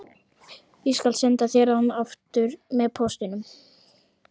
Ég skal senda þér hann aftur með póstinum